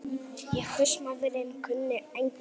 En húsmóðirin kunni engin ráð.